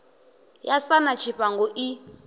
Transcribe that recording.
ya sa na tshifhango i